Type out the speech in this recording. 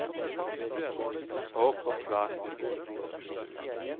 Haakon Flaten